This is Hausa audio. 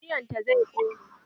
Rediyon ta zai ƙone.